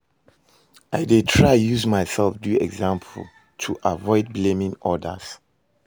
I dey try use myself do example to avoid blaming odas.